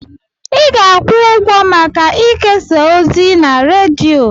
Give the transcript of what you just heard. Ị ga-akwụ ụgwọ maka ikesa ozi na redio.